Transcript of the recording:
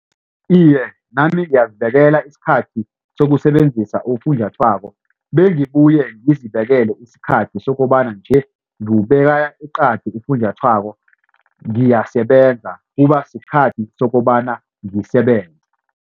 Iye nami ngiyazibekela isikhathi sokusebenzisa ufunjathwako bengibuye ngizibekele isikhathi sokobana nje ngiwubeka eqadi ufunjathwako ngiyasebenza kuba sikhathi sokobana ngisebenze.